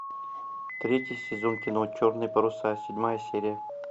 третий сезон кино черные паруса седьмая серия